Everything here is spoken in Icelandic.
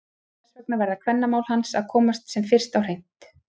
Þess vegna verða kvennamál hans að komast sem fyrst á hreint!